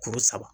Kuru saba